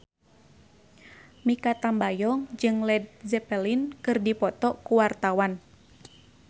Mikha Tambayong jeung Led Zeppelin keur dipoto ku wartawan